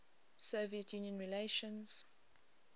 soviet union relations